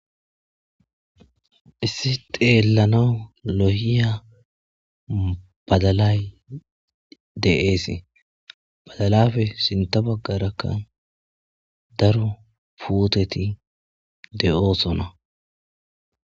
issi xeellanau loyiya badalay de7eese badalafe sinta baggarakka daru puteti de7oosona